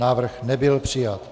Návrh nebyl přijat.